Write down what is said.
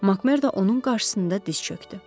Makmerdo onun qarşısında diz çökdü.